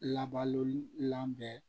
Labaloli labɛn